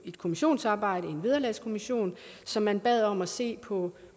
et kommissionsarbejde hos en vederlagskommission som man bad om at se på